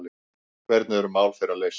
Hvernig eru mál þeirra leyst?